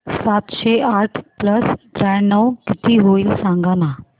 सातशे आठ प्लस त्र्याण्णव किती होईल सांगना